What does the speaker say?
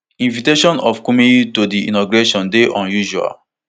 invitation of kumuyi to di inauguration dey unusual